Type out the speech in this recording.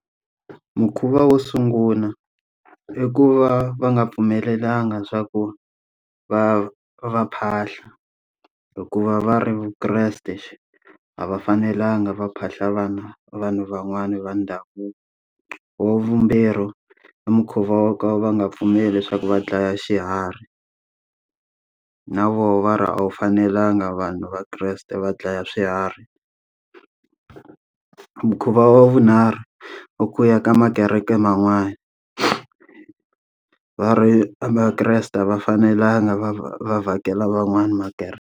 Mukhuva wo sungula i ku va va nga pfumelelanga swa ku va va phahla, hikuva va ri vukreste a va fanelanga va phahla vana vanhu van'wani va ndhavuko. Wa vumbirhi i mukhuva wo ka va nga pfumeli leswaku va dlaya xiharhi, na wona va ra a wu fanelanga vanhu vakreste va dlaya swiharhi mukhuva wa vunharhu, i ku ya ka ma kereke man'wani. Va ri vakreste a va fanelanga va va va vhakela van'wana makereke.